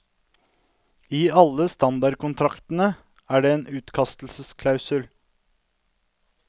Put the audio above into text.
I alle standardkontraktene er det en utkastelsesklausul.